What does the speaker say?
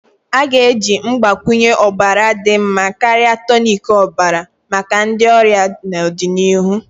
A ga-eji mgbakwunye ọbara dị mma karịa tonic ọbara maka ndi ọrịa n'ọdịnihu.